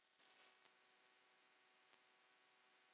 Ásgeiri gamla.